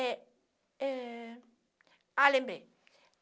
Eh eh... Ah, lembrei.